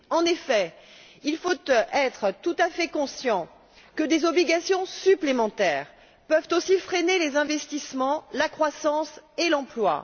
En effet, il faut être tout à fait conscient que des obligations supplémentaires peuvent aussi freiner les investissements, la croissance et l'emploi.